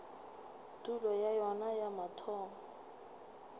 tulo ya yona ya mathomo